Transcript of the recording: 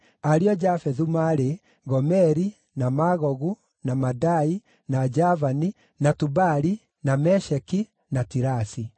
Ariũ a Jafethu maarĩ: Gomeri, na Magogu, na Madai, na Javani, na Tubali, na Mesheki, na Tirasi.